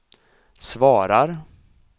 svarar